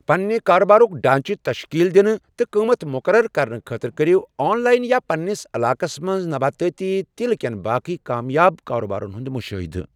پنٛنہِ کارٕبارک ڈھانٛچہِ تشکیٖل دِنہٕ تہٕ قٕمَتھ مُقرر کرنہٕ خٲطرٕ کٔرِو آن لایِن یا پنٛنِس علاقس منٛز نباتٲتی تیٖلہٕ کٮ۪ن باقٕے کامیاب کارٕبارن ہُنٛد مُشٲہدٕ ۔